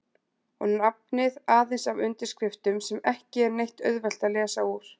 Og nafnið aðeins af undirskriftum sem ekki er neitt auðvelt að lesa úr.